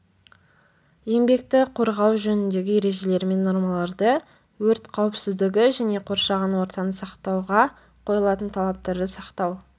еңбекті қорғау жөніндегі ережелер мен нормаларды өрт қауіпсіздігі және қоршаған ортаны сақтауға қойылатын талаптарды сақтау